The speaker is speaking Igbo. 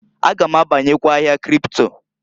A ga m abanyekwa ahịa kripto.